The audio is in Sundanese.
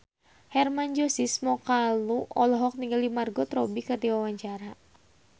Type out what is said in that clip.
Hermann Josis Mokalu olohok ningali Margot Robbie keur diwawancara